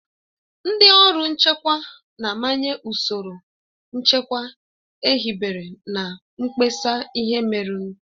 Ndị ọrụ nchekwa na-amanye ụsoro nchekwa ehibere na mkpesa ihe merenụ.